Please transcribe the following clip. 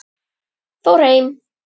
Fór heim?